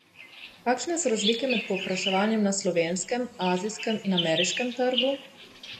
Kakšne so razlike med povpraševanjem na slovenskem, azijskem in ameriškem trgu?